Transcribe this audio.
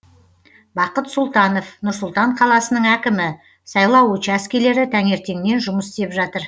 бақыт сұлтанов нұр сұлтан қаласының әкімі сайлау учаскелері таңертеңнен жұмыс істеп жатыр